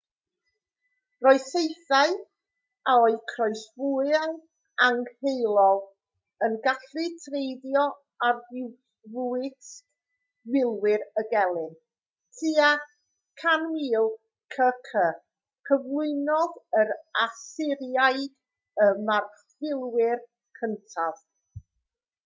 roedd saethau o'u croesfwâu angheuol yn gallu treiddio arfwisg milwyr y gelyn tua 1000 c.c. cyflwynodd yr asyriaid y marchfilwyr cyntaf